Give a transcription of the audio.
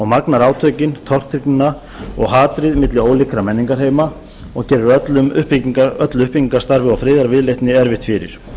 magnar átökin tortryggnina og hatrið milli ólíkra menningarheima og gerir öllu uppbyggingarstarfi og friðarviðleitni erfitt fyrir